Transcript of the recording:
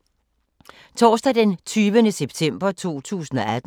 Torsdag d. 20. september 2018